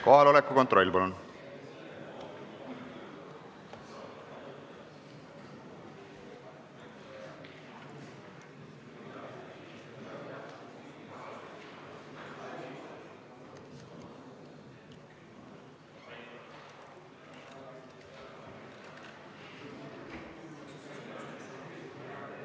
Kohaloleku kontroll, palun!